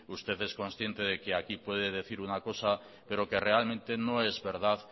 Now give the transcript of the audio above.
usted es consciente de que aquí puede decir una cosa pero que realmente no es verdad